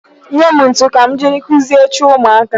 Nye m ntụ ka m jiri kụzie oche ụmụaka.